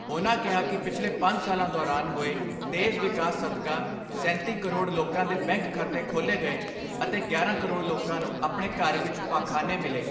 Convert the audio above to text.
ਉਨ੍ਹਾਂ ਕਿਹਾ ਕਿ ਪਿਛਲੇ ਪੰਜ ਸਾਲਾਂ ਦੌਰਾਨ ਹੋਏ ਤੇਜ਼ ਵਿਕਾਸ ਸਦਕਾ ਸੈਂਤੀ ਕਰੋੜ ਲੋਕਾਂ ਦੇ ਬੈਂਕ ਖਾਤੇ ਖੋਲ੍ਹੇ ਗਏ ਅਤੇ ਗਿਆਰਾਂ ਕਰੋੜ ਲੋਕਾਂ ਨੂੰ ਆਪਣੇ ਘਰ ਵਿਚ ਪਾਖਾਨੇ ਮਿਲੇ।